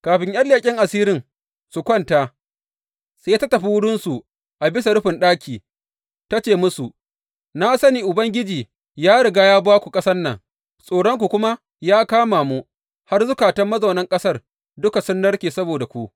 Kafin ’yan leƙen asirin su kwanta, sai ta tafi wurinsu a bisa rufin ɗakin ta ce musu, Na sani Ubangiji ya riga ya ba ku ƙasan nan, tsoronku kuma ya kama mu har zukatan mazaunan ƙasar duka sun narke saboda ku.